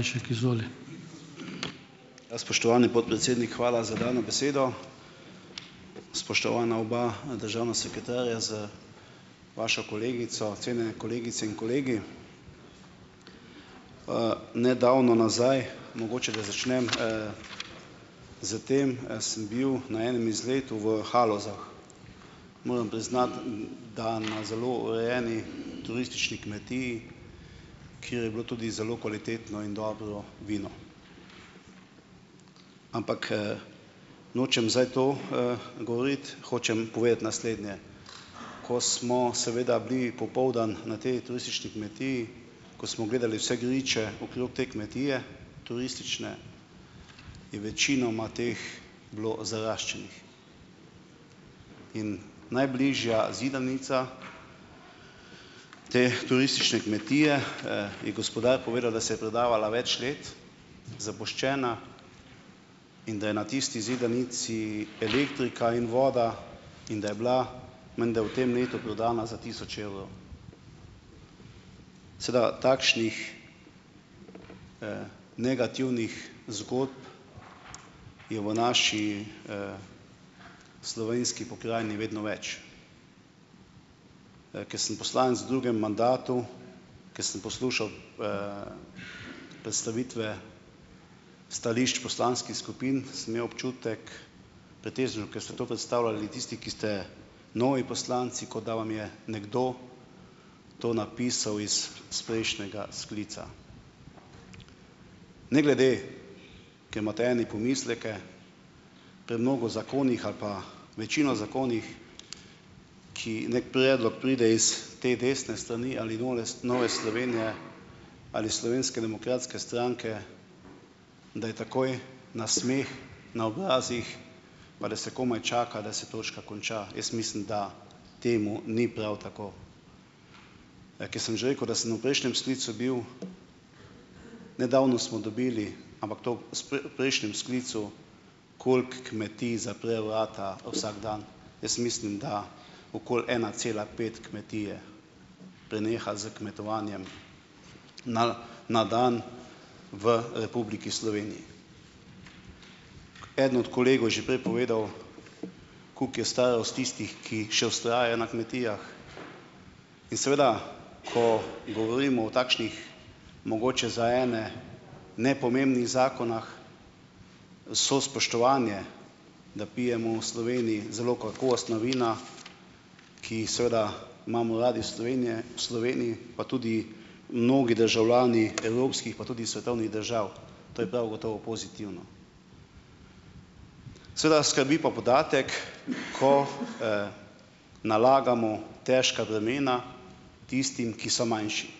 Ja, spoštovani podpredsednik, hvala za dano besedo. Spoštovana oba, državna sekretarja z vašo kolegico. Cenjene kolegice in kolegi. Nedavno nazaj - mogoče, da začnem, s tem, - sem bil na enem izletu v Halozah, moram priznati, da na zelo urejeni turistični kmetiji, kjer je bilo tudi zelo kvalitetno in dobro vino. Ampak, nočem zdaj to, govoriti, hočem povedati naslednje. Ko smo seveda bili popoldan na tej turistični kmetiji, ko smo gledali vse griče okrog te kmetije turistične, je večinoma teh bilo zaraščenih. In najbližja zidanica te turistične kmetije, je gospodar povedal, da se je prodajala več let, zapuščena, in da je na tisti zidanici elektrika in voda in da je bila menda v tem letu prodana za tisoč evrov. Sedaj takšnih negativnih zgodb je v naši slovenski pokrajini vedno več. Ker sem poslanec v drugem mandatu, ker sem poslušal predstavitve stališč poslanskih skupin, sem imel občutek pretežno, ker ste to predstavljali tisti, ki ste novi poslanci, kot da vam je nekdo to napisal iz prejšnjega sklica. Ne glede, ker imate eni pomisleke pri mnogo zakonih ali pa večini zakonih, ki neki predlog pride iz te desne strani ali nole Nove Slovenije ali Slovenske demokratske stranke, da je takoj nasmeh na obrazih, pa da se komaj čaka, da se točka konča. Jaz mislim, da temu ni prav tako. Ker sem že rekel, da sem v prejšnjem sklicu bil, nedavno smo dobili, ampak to v s v prejšnjem sklicu, koliko kmetij zapre vrata vsak dan. Jaz mislim, da okoli ena cela pet kmetije preneha s kmetovanjem na na dan v Republiki Sloveniji. Eden od kolegov je že prej povedal koliko je starost tistih, ki še vztrajajo na kmetijah. In seveda ko govorimo o takšnih mogoče za ene nepomembnih zakonih vse spoštovanje, da pijemo v Sloveniji zelo kakovostna vina, ki jih seveda imamo radi v Slovenije, v Sloveniji pa tudi mnogi državljani evropskih pa tudi svetovnih držav. To je prav gotovo pozitivno. Seveda skrbi pa podatek, ko nalagamo težka bremena tistim, ki so manjši.